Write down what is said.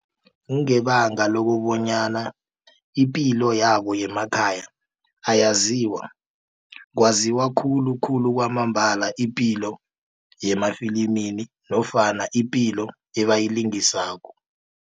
Kungebanga lokobonyana ipilo yabo yemakhaya ayaziwa kwaziwa khulukhulu kwamambala ipilo yamafilimini nofana ipilo ebayilingisako.